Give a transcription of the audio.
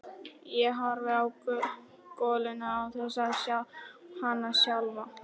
Ég horfi á goluna án þess að sjá hana sjálfa.